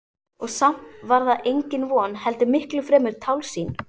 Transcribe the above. Og samt var það engin von heldur miklu fremur tálsýn.